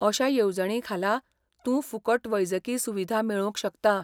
अश्या येवजणींखाला, तूं फुकट वैजकी सुविधा मेळोवंक शकता.